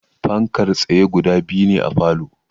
Fankar tsaye guda biyu ne a falow